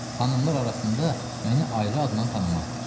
Xanımlar arasında məni ayrı adnan tanımazlar.